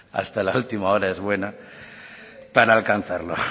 para alcanzarlo